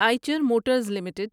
Eicher Motors limited